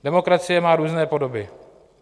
Demokracie má různé podoby.